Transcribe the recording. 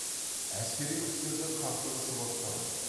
әскери күштердің қақтығысы басталады